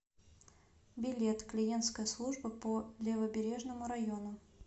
билет клиентская служба по левобережному району